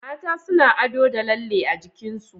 Mata suna ado da lalle a jikinsu